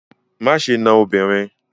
Má ṣe na obìnrin!